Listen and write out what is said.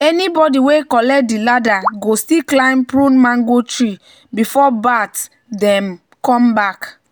"anybody wey collect di ladder go still climb prune mango tree before bat dem come back."